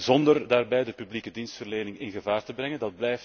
zonder daarbij de publieke dienstverlening in gevaar te brengen.